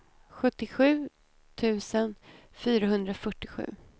sjuttiosju tusen fyrahundrafyrtiosju